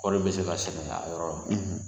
Kɔri bɛ se ka sɛnɛ a yɔrɔ la